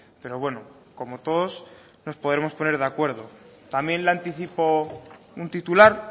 pero bueno como todos nos podremos poner de acuerdo también le anticipo un titular